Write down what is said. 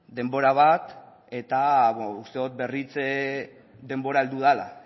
denbora bat eta uste dut berritze denbora heldu dela